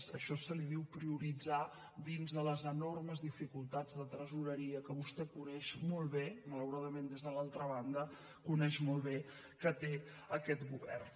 a això se li diu prioritzar dins de les enormes dificultats de tresoreria que vostè coneix molt bé malauradament des de l’altra banda coneix molt bé que té aquest govern